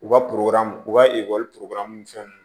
U ka u ka ekɔli ni fɛnw